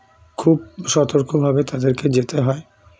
খুব সর্তক ভাবে তাদেরকে জেতে হয়ে